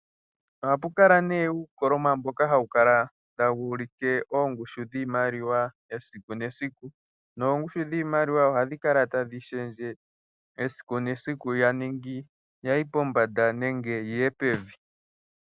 Ohappu kala nduno uukoloma mboka hawu kala tawu ulike oongushu dhiimaliwa esiku nesiku noongushu dhiimaliwa ohadhi kala tadhi lunduluka esiku nesiku tadhi ningi ya yi pombanda nenge yi ye pevi.